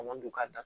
A man don ka taa